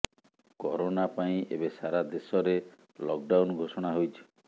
corona ପାଇଁ ଏବେ ସାରା ଦେଶରେ ଲକଡାଉନ୍ ଘୋଷଣା ହୋଇଛି